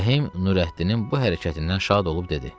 Rəhim Nurəddinin bu hərəkətindən şad olub dedi.